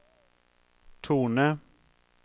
tone